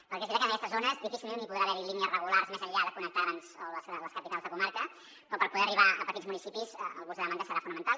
perquè és veritat que en aquestes zones difícilment hi podrà haver línies regulars més enllà de connectar les capitals de comarca però per poder arribar a petits municipis el bus a demanda serà fonamental